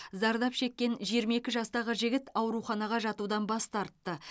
зардап шеккен жиырма екі жастағы жігіт ауруханаға жатудан бас тартты